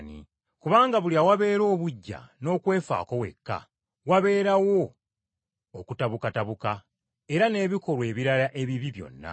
Kubanga buli awabeera obuggya n’okwefaako wekka, wabeerawo okutabukatabuka era n’ebikolwa ebirala ebibi byonna.